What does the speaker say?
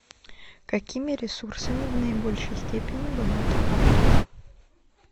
какими ресурсами в наибольшей степени богата африка